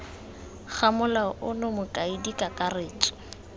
ga molao ono mokaedi kakaretso